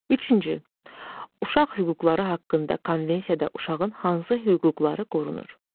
Üçüncü, uşaq hüquqları haqqında konvensiyada uşağın hansı hüquqları qorunur?